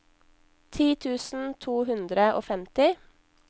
ti tusen to hundre og femti